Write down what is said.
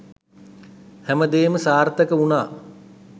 හැමදේම සාර්ථක වුණා.